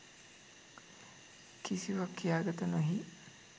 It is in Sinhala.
කිසිවක් කියාගත නොහී